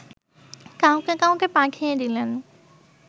কাউকে কাউকে পাঠিয়ে দিলেন